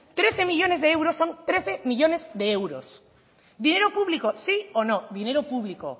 trece millónes de euros son trece millónes de euros dinero público sí o no dinero público